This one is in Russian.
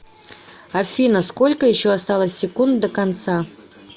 афина сколько еще осталось секунд до конца